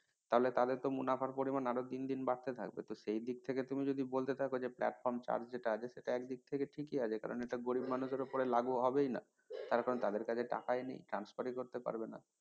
তাহলে তাদের তো মুনাফার পরিমান আরো দিন দিন বাড়তে থাকবে তো সেই দিক থেকে তুমি যদি বলতে থাকো যে platform charge যেটা আছে সেটা একদিক থেকে ঠিকই আছে কারন এটা গরিব মানুষের উপর লাগু হবেই না তার কারন তাদের কাছে টাকাই নেই transfer ই করতে পারবে না